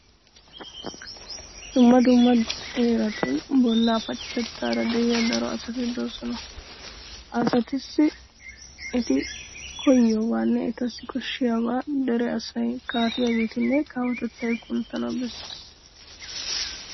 Dumma dumma heeratun bollaa pacatettaara de'iya daro asati de'oosona. Ha asatussi eti koyyiyobaanne etassi koshshiyabaa dere asay, kaafiyageetinne kawotettay kunttana bessees.